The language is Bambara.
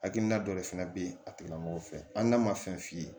Hakilina dɔ de fana bɛ yen a tigilamɔgɔ fɛ hali n'a ma fɛn f'i ye